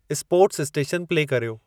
sports station play कर्यो